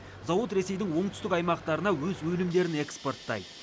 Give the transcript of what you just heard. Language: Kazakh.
зауыт ресейдің оңтүстік аймақтарына өз өнімдерін экспорттайды